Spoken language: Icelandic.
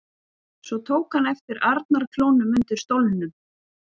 Svo tók hann eftir arnarklónum undir stólnum.